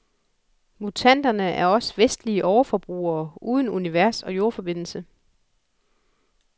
Mutanterne er os vestlige overforbrugere uden universog jordforbindelse.